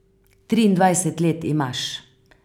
Triindvajset let imaš.